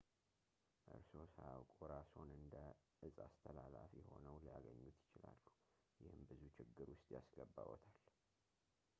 እርስዎ ሳያውቁ እራስዎን እንደ እጽ አስተላላፊ ሆነው ሊያገኙት ይችላሉ ይህም ብዙ ችግር ውስጥ ያስገባዎታል